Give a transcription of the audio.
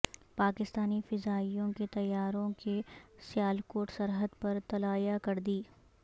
پاکستانی فضائیہ کے طیاروں کی سیالکوٹ سرحد پر طلایہ گردی